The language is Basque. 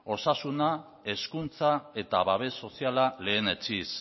osasuna hezkuntza eta babes soziala lehenetsiz